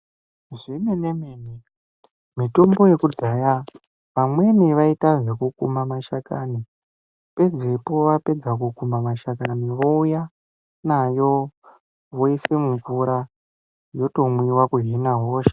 Zvemene mene mitombo yekudhaya amweni vaita zvekukuma mashakani pedzepo vapedza kukuma mashakani vouya nayo boise mumvura yotomwiwa kuhina hosha.